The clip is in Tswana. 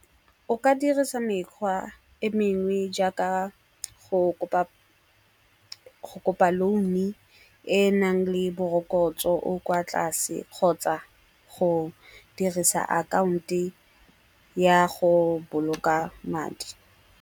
O ka dirisa mekgwa e mengwe jaaka go kopa loan-e enang le morokotso o o kwa tlase kgotsa go dirisa account-e ya go boloka madi.